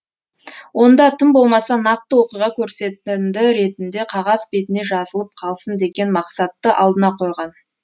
онда тым болмаса нақты оқиға көрсетінді ретінде қағаз бетіне жазылып қалсын деген мақсатты алдына қойған